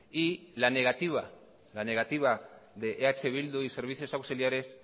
y la negativa de eh bildu y servicios auxiliares